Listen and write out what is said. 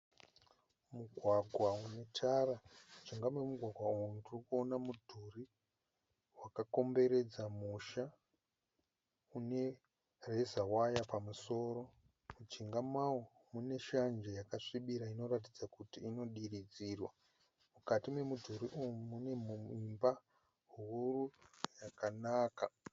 Mugwagwa unetara. Mujinga memugwagwa umu ndirikuona mudhurii wakakomberedza musha, unereza waya pamusoro. Mujinga mawo mune shanje yakasvibira inoratidza kuti inodiridzirwa . Mukati memudhuri umu, mune imba huru yakanaka